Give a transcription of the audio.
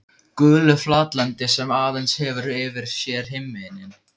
Gulu flatlendi sem aðeins hefur yfir sér himininn.